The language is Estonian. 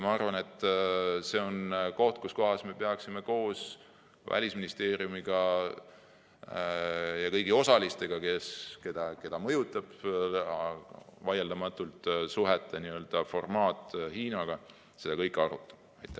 Ma arvan, et me peaksime koos Välisministeeriumiga ja kõigi osalistega, keda mõjutab vaieldamatult Hiina‑suhete formaat, seda kõike arutama.